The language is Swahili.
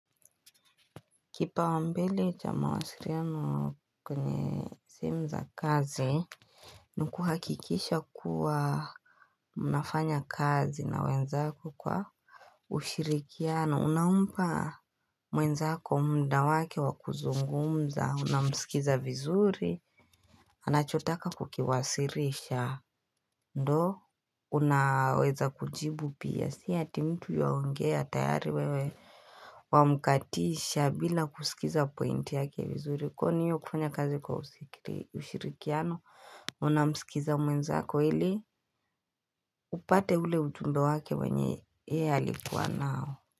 Kipaumbele cha mawasiliano kwenye simu za kazi ni kuhakikisha kuwa mnafanya kazi na wenzako kwa ushirikiano unampa mwenzako mda wake wa kuzungumza unamsikiza vizuri Anachotaka kukiwasilisha ndo Unaweza kujibu pia si ati mtu yaongea tayari wewe Wamkatisha bila kusikiza pointi yake vizuri kwani hiyo kufanya kazi kwa ushirikiano unamsikiza mwenzako ili upate ule ujumbe wake wenye yeye alikuwa nao.